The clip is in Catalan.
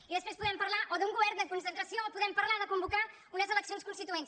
i després podem parlar o d’un govern de concentració o podem parlar de convocar unes eleccions constituents